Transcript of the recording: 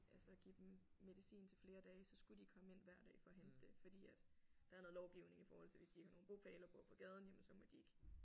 Altså give dem medicin til flere dage så skulle de komme ind hver dag for at hente det fordi at der er noget lovgivning i forhold til hvis de ikke har nogen bopæl og bor på gaden jamen så må de ikke